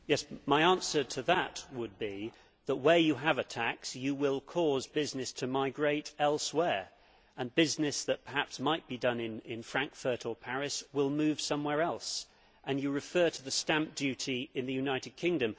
My answer to that would be that where you have a tax you will cause business to migrate elsewhere, and business that perhaps might be done in Frankfurt or Paris will move somewhere else. You refer also to the stamp duty in the United Kingdom.